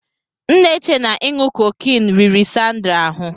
M n'eche na inu cocaine riri Sandra ahụ.